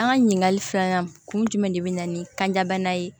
An ka ɲininkali filanan kun jumɛn de bɛ na ni kanjabana ye